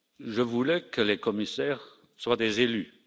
Je voulais que les commissaires soient des élus.